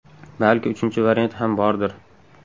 Balki uchinchi variant ham bordir?